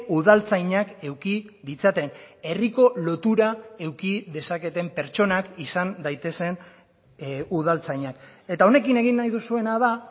udaltzainak eduki ditzaten herriko lotura eduki dezaketen pertsonak izan daitezen udaltzainak eta honekin egin nahi duzuena da